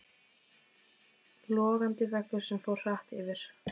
Logandi veggur sem fór hratt yfir.